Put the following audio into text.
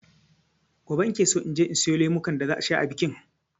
Gobe nakeso inje in siyo lemukan da za a sha a bikin.